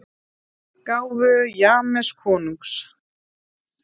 gáfu James konungs.